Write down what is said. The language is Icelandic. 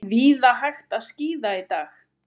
Víða hægt að skíða í dag